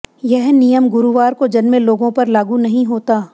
यह नियम गुरुवार को जन्मे लोगों पर लागू नहीं होता